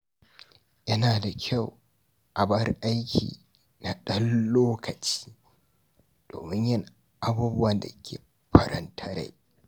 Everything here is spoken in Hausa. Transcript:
Yana da kyau a bar aiki na ɗan lokaci, domin yin abubuwan da ke faranta rai.